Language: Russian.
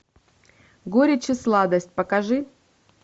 горечь и сладость покажи